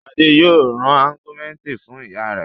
Ṣadé yóò ra Augumentin fún ìyá rẹ̀.